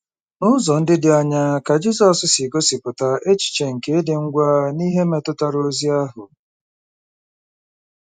N’ụzọ ndị dị aṅaa ka Jisọs si gosipụta echiche nke ịdị ngwa n’ihe metụtara ozi ahụ?